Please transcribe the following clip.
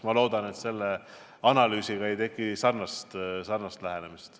Ma loodan, et selle analüüsi puhul ei teki sarnast lähenemist.